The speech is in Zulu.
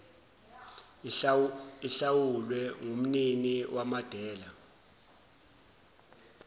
ihlawulwe ngumnini wamadela